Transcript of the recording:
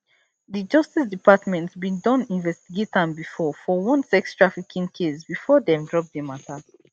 di justice department bin don investigate am bifor for one sextrafficking case bifor dem drop di mata